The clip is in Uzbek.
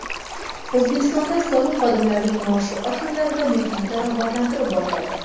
O‘zbekistonda soliq xodimlarining maoshi oshiriladi va mehnati rag‘batlantirib boriladi.